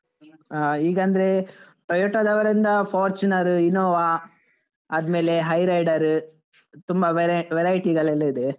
ಹಾ ಈಗ ಅಂದ್ರೆ Toyota ದವರಿಂದ Fortuner, Innova ಆದ್ಮೇಲೆ Hyrider ತುಂಬ variety ಗಳೆಲ್ಲ ಇದೆ.